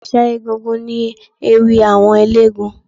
Ẹ̀ṣà egúngún ni ewì àwọn eléégún